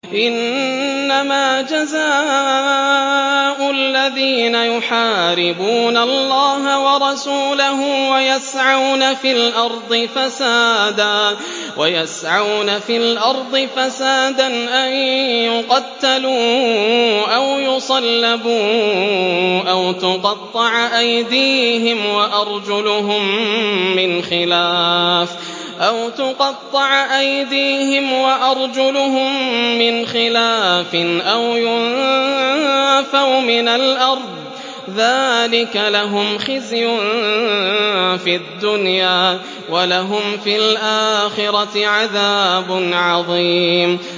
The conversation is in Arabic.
إِنَّمَا جَزَاءُ الَّذِينَ يُحَارِبُونَ اللَّهَ وَرَسُولَهُ وَيَسْعَوْنَ فِي الْأَرْضِ فَسَادًا أَن يُقَتَّلُوا أَوْ يُصَلَّبُوا أَوْ تُقَطَّعَ أَيْدِيهِمْ وَأَرْجُلُهُم مِّنْ خِلَافٍ أَوْ يُنفَوْا مِنَ الْأَرْضِ ۚ ذَٰلِكَ لَهُمْ خِزْيٌ فِي الدُّنْيَا ۖ وَلَهُمْ فِي الْآخِرَةِ عَذَابٌ عَظِيمٌ